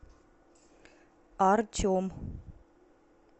артем